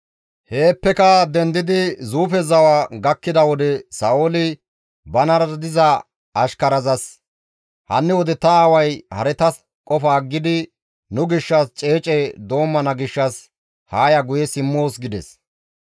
Heeppeka dendidi Zuufe zawa gakkida wode Sa7ooli banara diza ashkarazas, «Hanni wode ta aaway haretas qofa aggidi nu gishshas ceece doommana gishshas haa ya guye simmoos» gides.